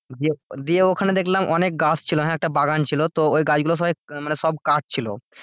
দিয়ে ওখানে দেখলাম অনেক গাছ ছিল হ্যাঁ একটা বাগান ছিল তো ওই গাছগুলো সবাই মানে সব কাট ছিলো,